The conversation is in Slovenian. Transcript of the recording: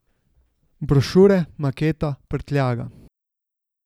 Brošure, maketa, prtljaga...